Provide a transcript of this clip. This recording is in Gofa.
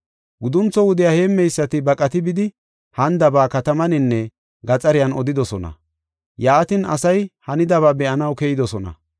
Guduntho wudiya heemmeysati baqati bidi hanidaba katamaninne gaxariyan odidosona. Yaatin asay hanidaba be7anaw keyidosona.